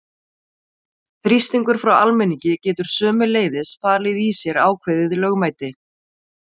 Þrýstingur frá almenningi getur sömuleiðis falið í sér ákveðið lögmæti.